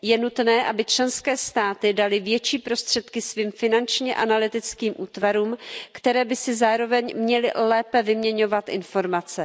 Je nutné, aby členské státy daly větší prostředky svým finančně analytickým útvarům, které by si zároveň měly lépe vyměňovat informace.